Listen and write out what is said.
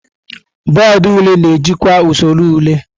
Bọọdụ ule na-ejikwa usoro ule.